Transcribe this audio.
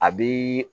A bi